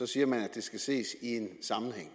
siger man at det skal ses i en sammenhæng